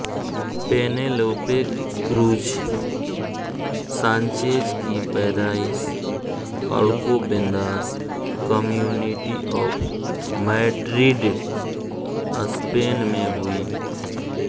Penelope Cruz Sanchez की पैदाइश Alcobendas community of Madrid Spain में हुई